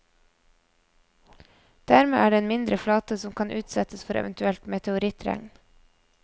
Dermed er det en mindre flate som kan utsettes for et eventuelt meteorittregn.